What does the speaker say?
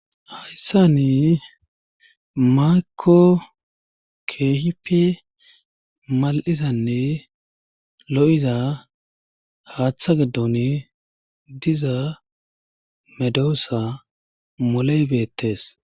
Hayssani maako keehipe mal'izanne lo'iza haaththa giddon diza medoossa moley beettes.